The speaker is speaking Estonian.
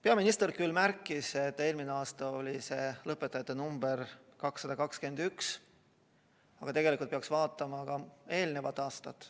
Peaminister küll märkis, et eelmisel aastal oli lõpetajate number 221, aga tegelikult peaks vaatama ka eelnevaid aastaid.